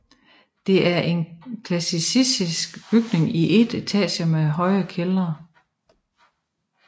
Det er en klassicistisk bygning i én etage med høj kælder